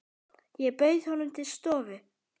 Ég bauð honum til stofu.